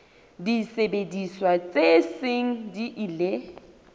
disebediswa tse seng di ile